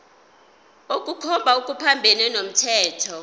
ukukhomba okuphambene nomthetho